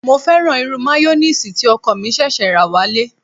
Mo fẹ́ràn irú mayoníìsì tí ọkọ̀ mi ṣẹ̀ṣẹ̀ rà wálé